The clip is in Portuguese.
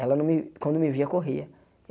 Ela não me, quando me via, corria.